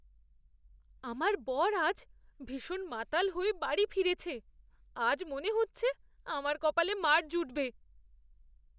আমার বর আজ ভীষণ মাতাল হয়ে বাড়ি ফিরেছে। আজ মনে হচ্ছে আমার কপালে মার জুটবে।